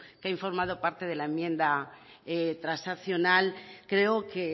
que ha informado parte de la enmienda transaccional creo que